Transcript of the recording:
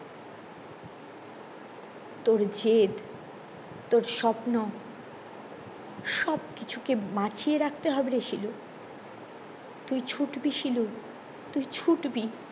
তোর জেদ তোর স্বপ্ন সব কিছুকে বাঁচিয়ে রাখতে হবে রে শিলু তুই ছুটবি শিলু তুই ছুটবি